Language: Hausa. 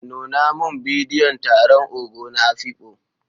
Nuna min bidiyon taron Ogo na Afikpo.